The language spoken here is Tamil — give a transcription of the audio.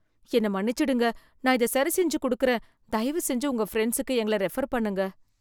என்ன மன்னிச்சிடுங்க நான் இத சரிசெஞ்சு குடுக்குறேன். தயவுசெஞ்சு உங்க ஃப்ரெண்ட்சுக்கு எங்கள ரெஃபர் பண்ணுங்க.